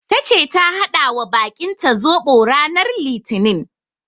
Tace ta haɗawa bakinta zoɓo ranar litinin.